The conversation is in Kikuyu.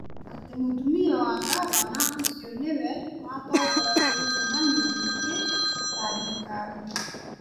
atĩ mũtumia wa ngavana ũcio nĩwe watongoragia mĩcemanio mĩingĩ ya thirikari.